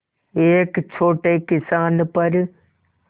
एक छोटे किसान पर